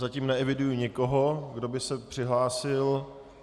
Zatím neeviduji nikoho, kdo by se přihlásil.